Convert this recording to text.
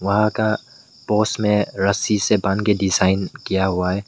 वहां का पोस में रस्सी से बांध के डिजाइन किया हुआ है।